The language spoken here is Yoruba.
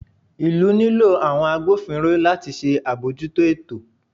ìlú nilo àwọn àgbófínró latí ṣe abọjúto ẹtò